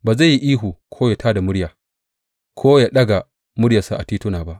Ba zai yi ihu ko ya tā da murya, ko ya daga muryarsa a tituna ba.